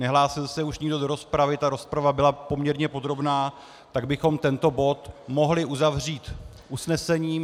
Nehlásil se už nikdo do rozpravy, ta rozprava byla poměrně podrobná, tak bychom tento bod mohli uzavřít usnesením.